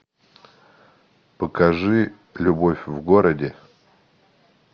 покажи любовь в городе